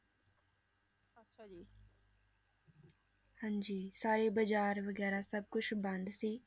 ਹਾਂਜੀ ਸਾਰੇ ਬਾਜ਼ਾਰ ਵਗ਼ੈਰਾ ਸਭ ਕੁਛ ਬੰਦ ਸੀ,